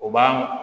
O b'a